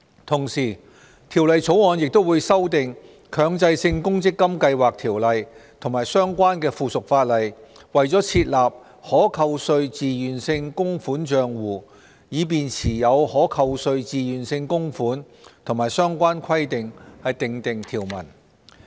同時，《條例草案》亦會修訂《強制性公積金計劃條例》及相關附屬法例，為設立"可扣稅自願性供款帳戶"以持有可扣稅自願性供款和相關規定訂定條文。